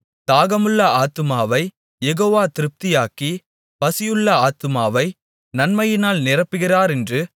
தாகமுள்ள ஆத்துமாவைக் யெகோவா திருப்தியாக்கி பசியுள்ள ஆத்துமாவை நன்மையினால் நிரப்புகிறாரென்று